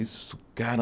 Isso, cara!